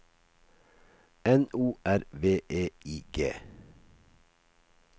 N O R V E I G